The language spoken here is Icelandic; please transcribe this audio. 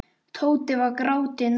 Tóti var gráti nær.